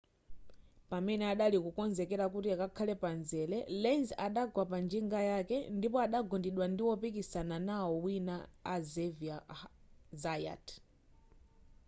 pamene adali kukonzekera kuti akhale pamzere lenz adagwa panjinga yake ndipo adagundidwa ndi wopikisana nawo wina a xavier zayat